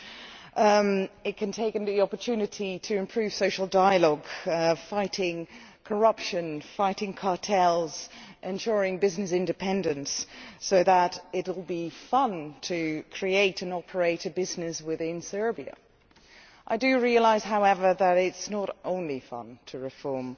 Serbia might take the opportunity to improve social dialogue, fighting corruption, fighting cartels and ensuring business independence, so that it will be fun to create and operate a business within the country. I do realise, however, that it is not only fun to reform.